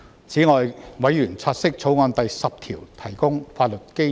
此外，委員察悉《條例草案》第10條提供法律基礎。